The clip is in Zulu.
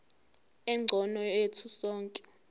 engcono yethu sonke